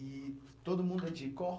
E todo mundo é de?